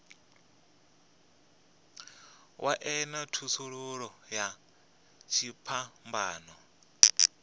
wa ṅea thasululo ya dziphambano